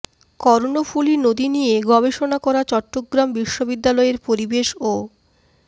কর্ণফুলী নদী নিয়ে গবেষণা করা চট্টগ্রাম বিশ্ববিদ্যালয়ের পরিবেশ ও